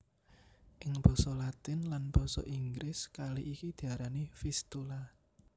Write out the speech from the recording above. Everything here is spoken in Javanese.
Ing basa Latin lan basa Inggris kali iki diarani Vistula